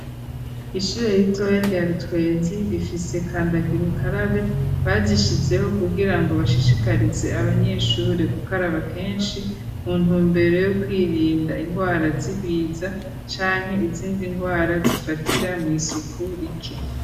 Ishure ritoya rya rutwenzi rifise kandagirukarabe barishizeho kubwira ngo bashishikarize abanyeshure ku karaba kenshi mu ntumbero yo kwirinda indwara zibiza canke izindi ndwara zifatira mu isuku rike.